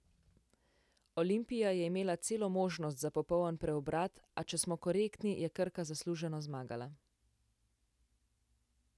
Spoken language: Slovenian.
Olimpija je imela celo možnost za popoln preobrat, a če smo korektni, je Krka zasluženo zmagala.